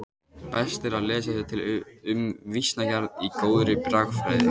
Best er að lesa sér til um vísnagerð í góðri bragfræði.